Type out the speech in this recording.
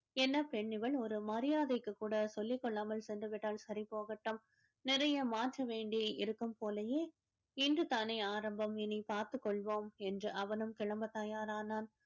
என்ன பெண் இவள் ஒரு மரியாதைக்கு கூட சொல்லிக் கொள்ளாமல் சென்று விட்டால் சரி போகட்டும் நிறைய மாற்று வேண்டியே இருக்கும் போலயே இன்று தானே ஆரம்பம் இனி பார்த்துக் கொள்வோம் என்று அவனும் கிளம்பத் தயாரானான்